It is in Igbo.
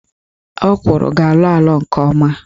Ọkwụrụ ga-alọ alọ nke ọma